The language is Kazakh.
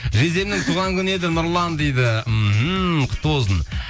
жездемнің туған күні еді нұрлан дейді мхм құтты болсын